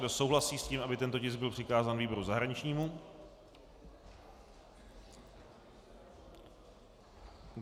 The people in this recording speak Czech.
Kdo souhlasí s tím, aby tento tisk byl přikázán výboru zahraničnímu?